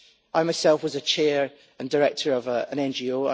I, myself, was a Chair and a director of an NGO.